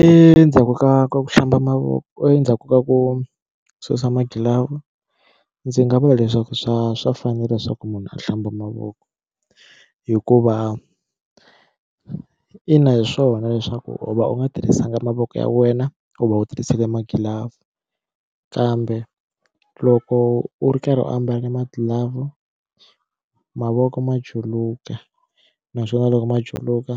Endzhaku ka ku hlamba mavoko endzhaku ka ku susa magilavhu ndzi nga vula leswaku swa swa fanela leswaku munhu a hlamba mavoko hikuva ina hi swona leswaku u va u nga tirhisanga mavoko ya wena u va u tirhisile magilavhu kambe loko u ri karhi u ambale magilavhu mavoko ma juluka naswona loko ma juluka